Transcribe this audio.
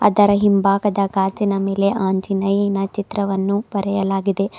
ಅದರ ಹಿಂಭಾಗದ ಗಾಜಿನ ಮೇಲೆ ಆಂಜನಯ್ಯನ ಚಿತ್ರವನ್ನು ಬರೆಯಲಾಗಿದೆ.